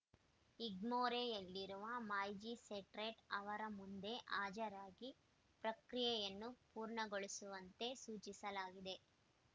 ಇಗ್ಮೋರೆಯಲ್ಲಿರುವ magistrate ಅವರ ಮುಂದೆ ಹಜರಾಗಿ ಪ್ರಕ್ರಿಯೆಯನ್ನು ಪೂರ್ಣಗೊಳಿಸುವಂತೆ ಸೂಚಿಸಲಾಗಿದೆ